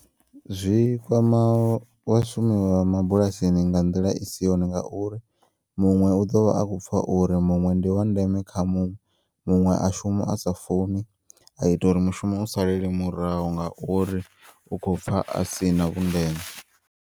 Zwikwama vhashumi vha mabulasini nga nḓila isi yone nga uri muṅwe u ḓovha a kho upfa uri muṅwe ndi wandeme kha muṅwe, muṅwe a shuma asa funi a ita uri mushumo u salele murahu ngauri u khopfa asina vhundeme.